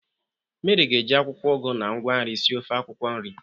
Meri ga-eji akwụkwọ ugu na ngwa nri sie ofe akwukwo nri.